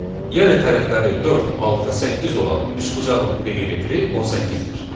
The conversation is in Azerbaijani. Yəni tərəfləri 4, 6, 8 olan üçbucağın perimetri 18-dir.